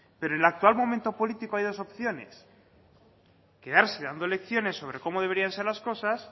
pero en el actual momento político hay dos opciones quedarse dando lecciones sobre cómo deberían de ser las cosas